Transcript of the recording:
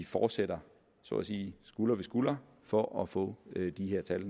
fortsætter så at sige skulder ved skulder for at få de her tal